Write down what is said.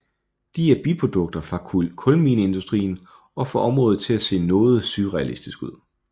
De er biprodukter fra kulmineindustrien og får området til at se noget surrealistisk ud